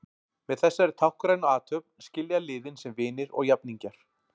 Með þessari táknrænu athöfn skilja liðin sem vinir og jafningjar.